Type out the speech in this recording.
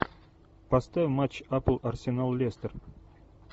поставь матч апл арсенал лестер